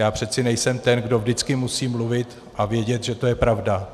Já přeci nejsem ten, kdo vždycky musí mluvit a vědět, že to je pravda.